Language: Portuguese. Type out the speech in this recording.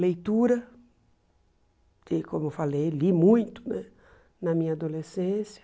Leitura, que como eu falei, li muito né na minha adolescência.